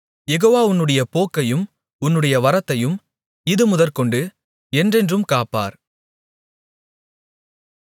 யெகோவா உன்னுடைய போக்கையும் உன்னுடைய வரத்தையும் இதுமுதற்கொண்டு என்றென்றும் காப்பார்